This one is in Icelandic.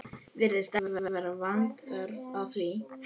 Virðist ekki vanþörf á því.